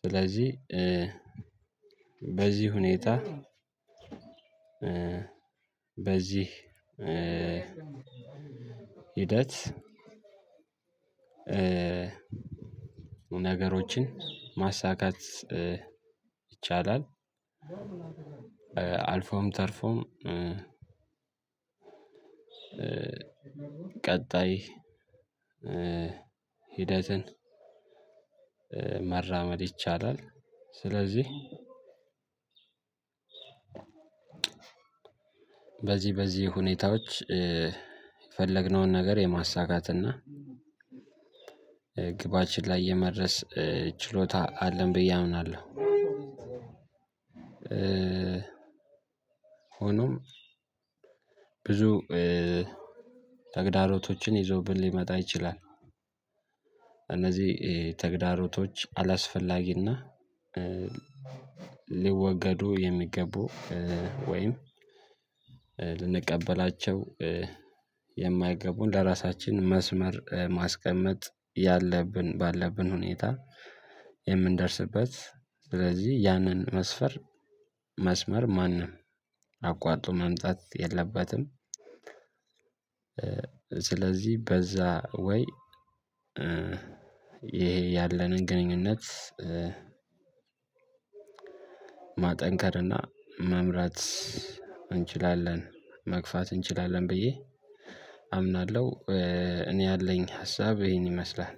ስለዚህ በዚህ ሁኔታ በዚህ ሂደት ነገሮችን ማሳካት ይቻላል። አልፎም ተርፎም ቀጣይ ሂደትን መራመድ ይቻላል። ስለዚህ በዚህ በዚህ ሁኔታዎች የፈለግነውን ነገር የማሳካትና ግባችን ላይ የመድረስ ችሎታ አለን ብዬ አምናለሁ። ሆኖም ብዙ ተግዳሮቶችን ይዞብን ሊመጣ ይችላል። እነዚህ ተግዳሮቶች አላስፈላጊና ሊወገዱ የሚገቡ ወይም ልንቀበላቸው የማይገቡን ለራሳችን መስመር ማስቀመጥ ያለብን ባለብን ሁኔታ የምንደርስበት ስለዚህ ያንን መስፈር መስመር ማንም አቋርጦ መምጣት የለበትም። ስለዚህ በዛ ወይ ይሄ ያለንን ግንኙነት ማጠንከር እና መምራት እንችላለን መግፋት እንችላለን ብዬ አምናለሁ። እኔ ያለኝ ሀሳብ ይሄን ይመስላል።